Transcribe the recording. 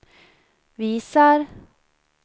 visar